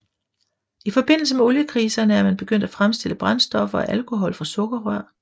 I forbindelse med oliekriserne er man begyndt at fremstille brændstoffer af alkohol fra sukkerrør